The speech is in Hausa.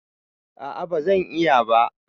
A'a bazan iya ba